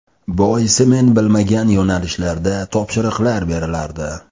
Boisi men bilmagan yo‘nalishlarda topshiriqlar berilardi.